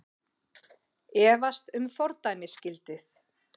Efast um fordæmisgildið